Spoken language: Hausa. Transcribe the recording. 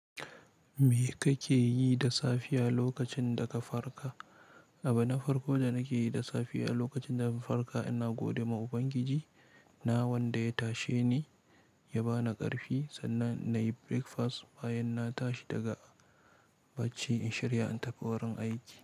Me kake yi da safiya lokacin da ka farka? Abin na farko da nake yi da safiya lokacin da na farka ina gode ma Ubangiji na wanda ya tashe ni ya ba ni ƙarfi sannan na yi breakfast bayan na tashi daga bacci in shirya in tafi wurin aiki.